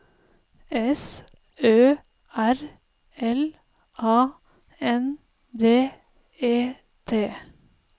S Ø R L A N D E T